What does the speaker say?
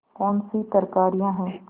कौनसी तरकारियॉँ हैं